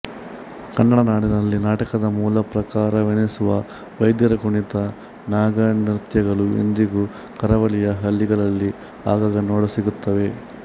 ಕನ್ನಡನಾಡಿನಲ್ಲಿ ನಾಟಕದ ಮೂಲಪ್ರಕಾರವೆನಿಸುವ ವೈದ್ಯರ ಕುಣಿತ ನಾಗನೃತ್ಯಗಳು ಇಂದಿಗೂ ಕರಾವಳಿಯ ಹಳ್ಳಿಗಳಲ್ಲಿ ಆಗಾಗ ನೋಡಸಿಗುತ್ತವೆ